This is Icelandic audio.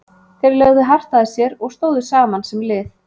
Þeir lögðu hart að sér og stóðu saman sem lið.